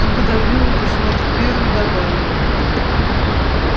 он пододвинул письмо к тверу и добавил